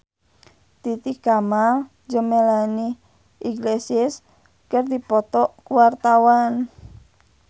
Titi Kamal jeung Melanie Iglesias keur dipoto ku wartawan